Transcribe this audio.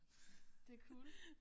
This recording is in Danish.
Det er cool